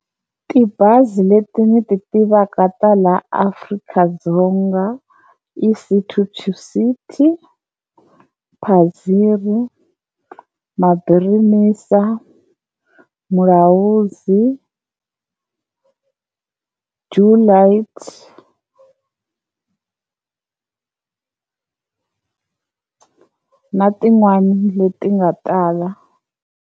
Tibazi leti ndzi ti tivaka ta la Afrika-Dzonga i City To City, Padziri, Mabirimisa, Vulahudzi, Do Lights na tin'wani leti nga tala.